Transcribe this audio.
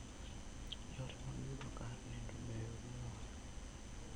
Yore mag yudo kar nindo beyo moloyo.